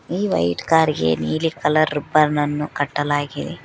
ಈ white car ಗೆ ನೀಲಿ ಕಲರ್ ರಿಬ್ಬನ್ ಅನ್ನು ಕಟ್ಟಲಾಗಿದೆ.